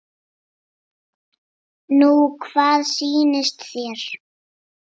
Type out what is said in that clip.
Nú hvað sýnist þér.